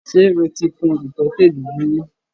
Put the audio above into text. Ṣe o ti kun ìtọ́tè dúdú rí?